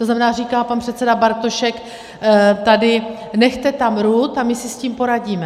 To znamená, říká pan předseda Bartošek tady - nechte tam RUD a my si s tím poradíme.